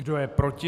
Kdo je proti?